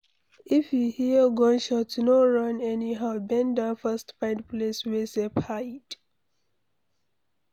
If you hear gunshot no run anyhow, bend down first find place wey safe hide